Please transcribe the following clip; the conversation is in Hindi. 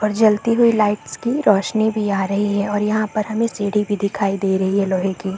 और जलती हुई लाइट्स की रौशनी भी आ रही है और यहाँ पर हमें सीढ़ी भी दिखाई दे रही है लोहे की --